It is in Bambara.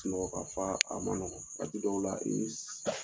Sunɔgɔ Ka fa a nɔgɔn, waati dɔw la i bɛ